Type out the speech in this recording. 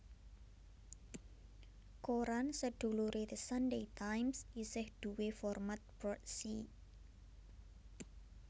Koran seduluré The Sunday Times isih duwé format broadsheet